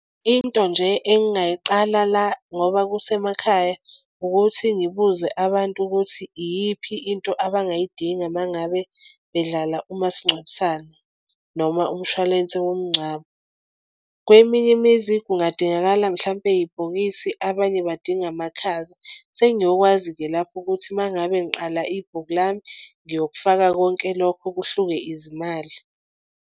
Into nje engingayiqala la ngoba kusemakhaya ukuthi ngibuze abantu ukuthi iyiphi into abangayidinga uma ngabe bedlala umasingcwabisane noma umshwalense womngcwabo. Kweminye imizi kungadingakala mhlampe ibhokisi, abanye badinga amakhaza. Sengiyokwazi-ke lapho ukuthi uma ngabe ngiqala ibhuku lami ngiyokufaka konke lokho kuhluke izimali.